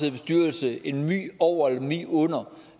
i bestyrelse en my over eller en my under og